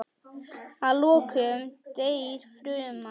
Að lokum deyr fruman.